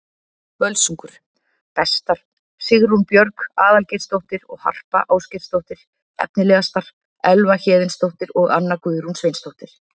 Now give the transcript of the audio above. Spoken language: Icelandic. Völsungur: Bestar: Sigrún Björg Aðalgeirsdóttir og Harpa Ásgeirsdóttir Efnilegastar: Elva Héðinsdóttir og Anna Guðrún Sveinsdóttir